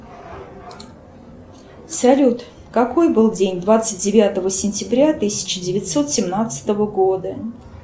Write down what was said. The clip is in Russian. салют какой был день двадцать девятого сентября тысяча девятьсот семнадцатого года